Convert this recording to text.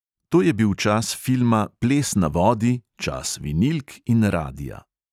To je bil čas filma ples na vodi, čas vinilk in radia.